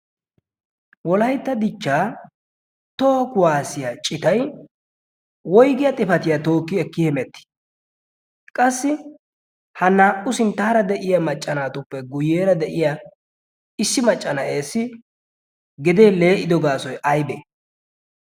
wolaytta dichchaa toho kuwaasiya citay woygiyaa xifatiyaa tookki ekki himetti qassi ha naa"u sinttaara de'iya macca naatuppe guyyeera de'iya issi macca na'ees gedee lee"ido gaasoy aybee